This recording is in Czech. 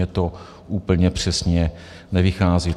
Mně to úplně přesně nevychází.